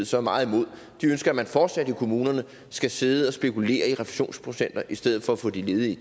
så meget imod de ønsker at man fortsat i kommunerne skal sidde og spekulere i refusionsprocenter i stedet for at få de ledige